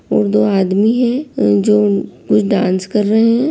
और दो आदमी है जो- डांस कर रहे हैं।